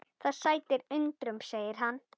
Það sætir undrum segir hann.